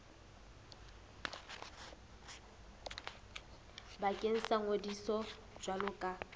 bakeng sa ngodiso jwalo ka